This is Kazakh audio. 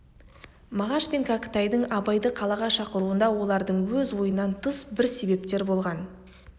мағаш пен кәкітайдың абайды қалаға шақыруында олардың өз ойынан тыс бір себептер болған